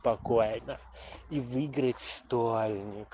спокойно и выиграть стольник